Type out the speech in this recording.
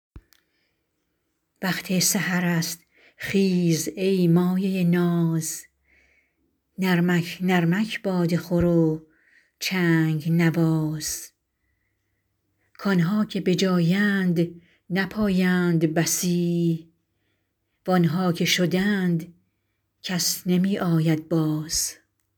وقت سحر است خیز ای مایه ناز نرمک نرمک باده خور و چنگ نواز کآنها که به جایند نپایند بسی وآنها که شدند کس نمی آید باز